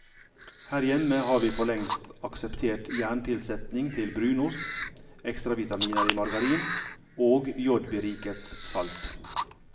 Her hjemme har vi forlengst akseptert jerntilsetning i brunost, ekstravitaminer i margarin og jodberiket salt.